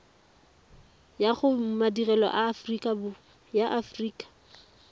ya go madirelo a aforika